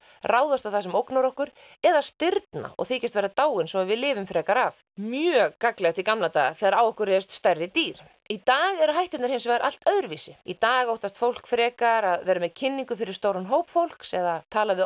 ráðast á það sem ógnar okkur eða stirðna og þykjast vera dáin svo við lifum frekar af mjög gagnlegt í gamla daga þegar á okkur réðust stærri dýr í dag eru hætturnar hins vegar allt öðruvísi í dag óttast fólk frekar að vera með kynningar fyrir stóran hóp fólks eða tala við